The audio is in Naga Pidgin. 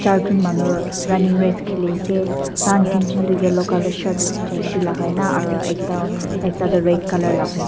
charjon manu running race kheli ase dar tinjon toh yellow colour shirt jersey lagai aru ekta toh red colour lagai.